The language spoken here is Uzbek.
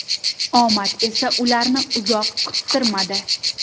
Omad esa ularni uzoq kuttirmadi.